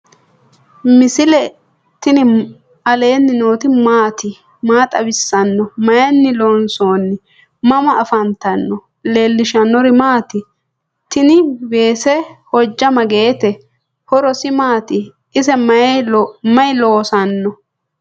misile tini alenni nooti maati? maa xawissanno? Maayinni loonisoonni? mama affanttanno? leelishanori maati? tnni wese hoja magete ?horose maati? ise mayi loosano